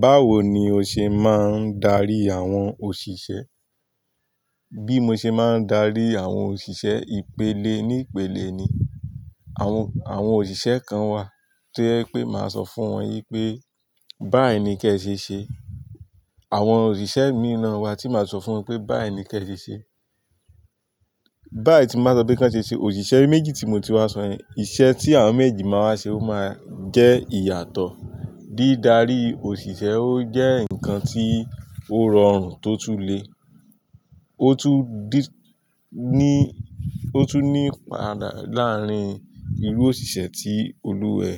Báwo ni o ṣe máa ń darí àwọn òṣìṣẹ́? Bí mo ṣe máa ń darí àwọn òṣìṣẹ́ ìpele ní ìpele ni. Àwọn, àwọn òṣìṣẹ́ kan wà to je pé màá sọ fún wọn wi pé "báì ni kẹ ṣe ṣe", àwọn òṣìṣẹ́ mì naa wà tí màá sọ fún wọn pé "báì ni kẹ ṣe ṣe". Báì tín bá sọ pé kí wọ́n ṣe ṣe, òṣìṣẹ́ méjì tí mo ti wá sọ èn, iṣẹ́ tí àwọn méjì máa wa ṣe ó máa jẹ́ ìyàtọ̀. Dídarí òṣìṣẹ́ ó jẹ́ ǹkan tí ó rọrùn tó tún le. Ó tún dí-- ní, ó tún ní pàtà láàárín irú òṣìṣẹ́ tí olúwẹ